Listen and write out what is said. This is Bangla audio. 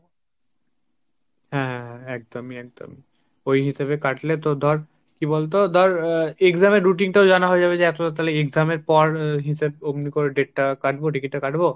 হাঁ হা হা একদমই একদমই, ওই হিসাবে কাটলে তো ধর কি বলতো তো ধর exam এর routine টাও জানা হয়ে যাবে যে এতটা তালে exam এর পর হিসাব অমনি করে date টা কাটবো ticket টা কাটবো